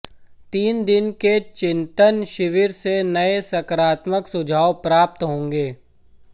तीन दिन के चिंतन शिविर से नए सकारात्मक सुझाव प्राप्त होंगे